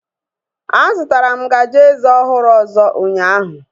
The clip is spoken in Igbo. A zụtara m ngaji eze ọhụrụ ọzọ ụnyaahụ